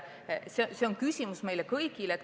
See on küsimus meile kõigile.